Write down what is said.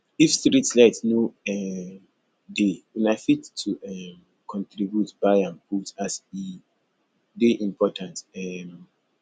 if streetlight no um dey una fit to um contribute buy am put as e dey important um